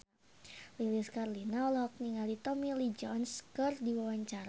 Lilis Karlina olohok ningali Tommy Lee Jones keur diwawancara